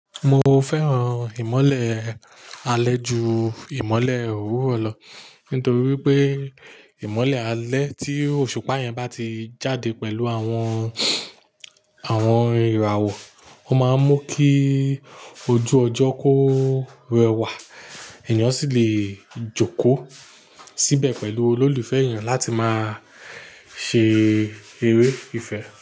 Mo fẹ́ràn ìmọ́lẹ̀ alẹ́ ju ìmọ́lẹ̀ òwúrọ̀ lọ nítorí wípé ìmọ́lẹ̀ alẹ́ tí òṣùpá yẹn bá ti jáde pẹ̀lú àwọn, àwọn ìràwọ̀, ó máa ń mú kí ojú ọjọ́ kó rẹwà, ènìyàn sì lè jókòó síbẹ̀ pẹ̀lú olólùfẹ́ ènìyàn láti máa ṣe eré ìfẹ́